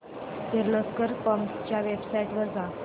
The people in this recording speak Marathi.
किर्लोस्कर पंप्स च्या वेबसाइट वर जा